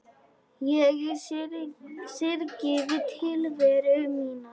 Ég syrgði tilveru mína.